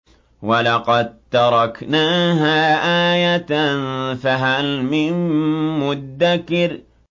وَلَقَد تَّرَكْنَاهَا آيَةً فَهَلْ مِن مُّدَّكِرٍ